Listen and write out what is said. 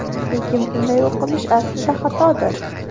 Lekin bunday o‘qilish aslida xatodir.